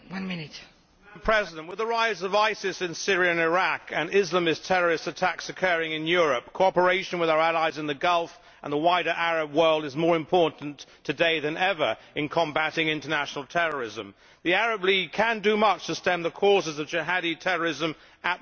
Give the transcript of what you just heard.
Madam President, with the rise of ISIS in Syria and Iraq, and Islamist terrorist attacks occurring in Europe, cooperation with our allies in the Gulf and the wider Arab world is more important today than ever in combating international terrorism. The Arab League can do much to stem the causes of jihadi terrorism at the roots.